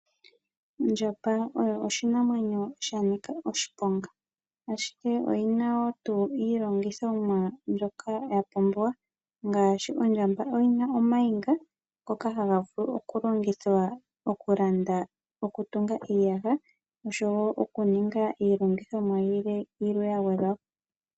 Ondjamba oyo oshinamwenyo shanika oshiponga, ashike oyina wo tuu iilongithomwa mbyoka yapumbiwa, ngaashi ondjamba oyina omayinga ngoka haga vulu oku longithwa oku landa, oku tunga iiyaha, oshowo okuninga iilongithomwa yilwe ya gwedhwa po.